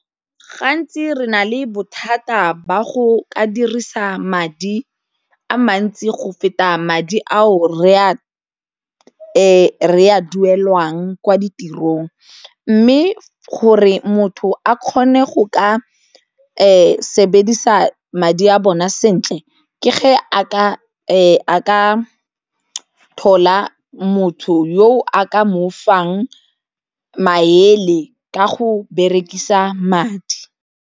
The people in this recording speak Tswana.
Gantsi re na le bothata ba go ka dirisa madi a mantsi go feta madi ao re a duelwang kwa ditirong mme gore motho a kgone go ka sebedisa madi a bona sentle ke a ka thola motho yo a ka mo fang maele ka go berekisa madi.